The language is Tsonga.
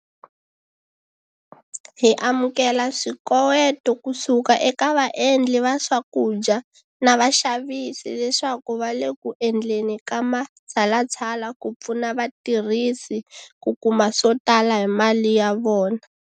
Hi amukela swikoweto kusuka eka vaendli va swakudya na vaxavisi leswaku va le ku endleni ka matshalatshala ku pfuna vatirhisi ku kuma swo tala hi mali ya vona.